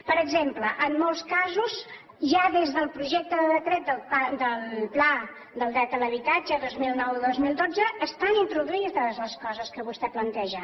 per exemple en molts casos ja des del projecte de decret del pla del dret a l’habitatge dos mil nou dos mil dotze estan introduïdes les coses que vostè planteja